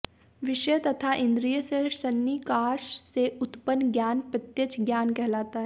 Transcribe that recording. विषय तथा इन्द्रिय के सन्निकार्ष से उत्पन्न ज्ञान प्रत्यक्ष ज्ञान कहलाता है